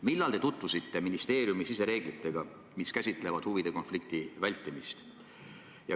Millal te tutvusite ministeeriumi sisereeglitega, mis käsitlevad huvide konflikti vältimist?